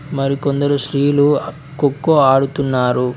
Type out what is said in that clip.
మరి కొందరు స్త్రీలు కొక్కో ఆడుతున్నారు.